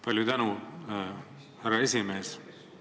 Palju tänu, härra esimees!